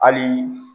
Hali